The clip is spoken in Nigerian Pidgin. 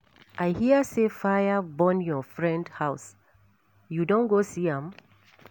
I hear say fire burn your friend house, you don go see am?